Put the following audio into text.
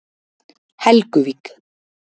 Helguvík